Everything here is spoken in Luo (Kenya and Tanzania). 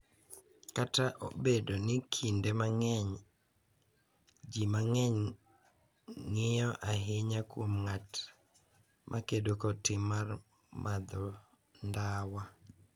Kata obedo ni kinde mang’eny ji mang’eny ng’iyo ahinya kuom ng’at ma kedo kod tim mar madho ndawa,